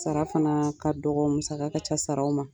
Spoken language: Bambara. Sara fana ka dɔgɔ musaka ka ca sararaw ma